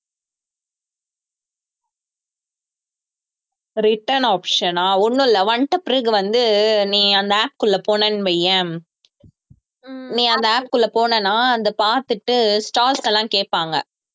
return option ஆ ஒண்ணும் இல்லை வந்த பிறகு வந்து நீ அந்த app க்குள்ள போனேன்னு வையேன் நீ அந்த app க்குள்ள போனேன்னா அதை பார்த்துட்டு stars ல எல்லாம் கேட்பாங்க